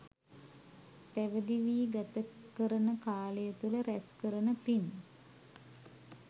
පැවිදි වී ගත කරන කාලය තුළ රැස් කරන පින්